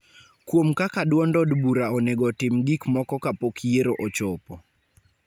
kuom kaka duond od bura onego otim gik moko kapok yiero ochopo.